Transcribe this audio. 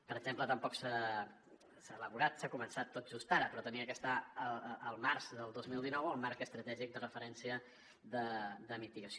per exemple tampoc s’ha elaborat s’ha començat tot just ara però havia d’estar el març del dos mil dinou el marc estratègic de referència de mitigació